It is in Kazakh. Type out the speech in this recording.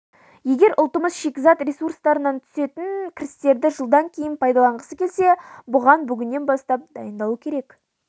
егер ұлтымыз шикізат ресурстарынан түсетін кірістерді жылдан кейін пайдаланғысы келсе бұған бүгіннен бастап дайындалу керек